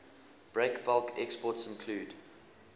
breakbulk exports include